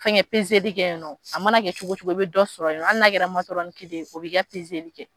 Fɛnkɛ pezeli kɛ yen nɔ, a mana kɛ cogo o cogo o bɛ dɔ sɔrɔ yen nɔ hali n'a kɛra matɔrɔni kelen o b'i ka pezeli kɛ.